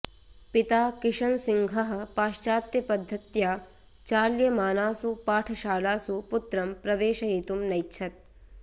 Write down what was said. पिता किषन्सिंहः पाश्चात्यपद्धत्या चाल्यमानासु पाठशालासु पुत्रं प्रवेशयितुं नैच्छत्